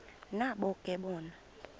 nabo ke bona